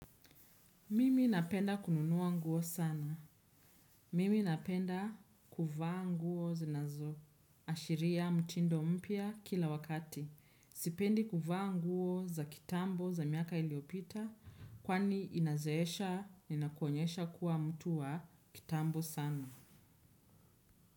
Mimi napenda kununua nguo sana. Mimi napenda kuvaa nguo zinazo. Ashiria mtindo mpya kila wakati. Sipendi kuvaa nguo za kitambo za miaka iliopita kwani inazeesha inakuonyesha kuwa mtu wa kitambo sana.